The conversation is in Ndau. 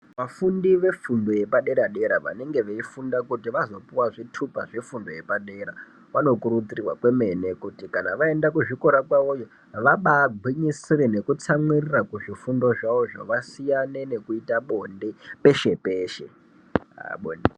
Vafundi vefundo yepadera-dera vanenge veifunda kuti vazopuwa zvitupa zvefundo yepadera vanokurudzirwa kwemene kuti kana vaenda kuzvikora kwavoyo vabagwinyisire nekutsamwirira kuzvifundo zvavozvo vasiyane nekuita bonde peshe-peshe.